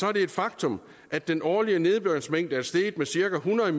er det et faktum at den årlige nedbørsmængde er steget med cirka hundrede